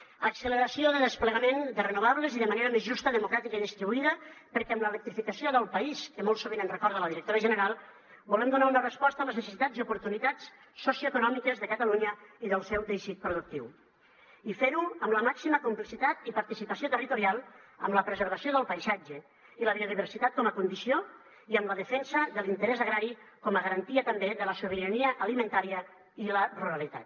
acceleració de desplegament de renovables i de manera més justa democràtica i distribuïda perquè amb l’electrificació del país que molt sovint ens recorda la directora general volem donar una resposta a les necessitats i oportunitats socioeconòmiques de catalunya i del seu teixit productiu i fer ho amb la màxima complicitat i participació territorial amb la preservació del paisatge i la biodiversitat com a condició i amb la defensa de l’interès agrari com a garantia també de la sobirania alimentària i la ruralitat